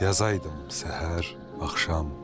Yazaydım səhər, axşam.